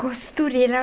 Costureira.